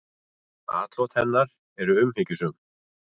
Atlot hennar eru umhyggjusöm.